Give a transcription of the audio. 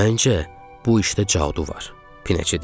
Məncə, bu işdə cadu var, Pinəçə deyirdi.